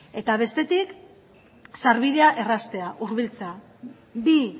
eta bestetik sarbidea erraztea hurbiltzea bi